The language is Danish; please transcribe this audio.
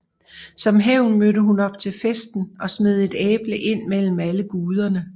Som hævn mødte hun op til festen og smed et æble ind mellem alle guderne